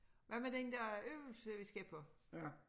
Hvad med den der øvelse vi skal på?